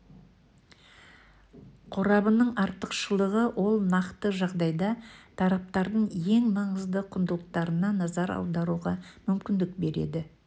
қорабының артықшылығы ол нақты жағдайда тараптардың ең маңызды құндылықтарына назар аударуға мүмкіндік береді